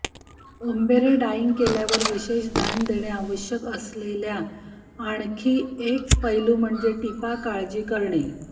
ombre dyeing केल्यावर विशेष ध्यान देणे आवश्यक असलेल्या आणखी एक पैलू म्हणजे टिपा काळजी करणे